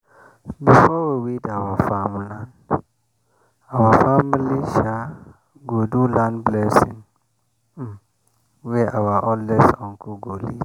before we weed our farm land our family um go do land blessing um wey our oldest uncle go lead